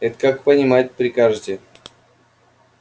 это как понимать прикажете